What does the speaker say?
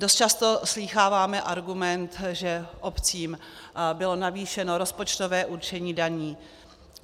Dost často slýcháváme argument, že obcím bylo navýšeno rozpočtové určení daní.